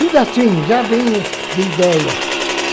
Tudo assim já vem de ideia.